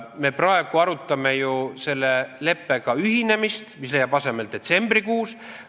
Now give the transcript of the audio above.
Me praegu arutame ju selle leppega ühinemise üle, mis leiab aset detsembrikuus.